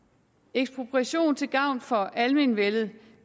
ekspropriation til gavn for almenvellet